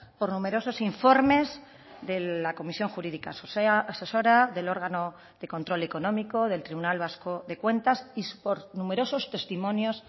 por numerosos informes de la comisión jurídica asesora del órgano de control económico del tribunal vasco de cuentas y por numerosos testimonios